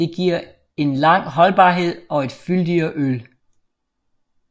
Det giver en lang holdbarhed og et fyldigere øl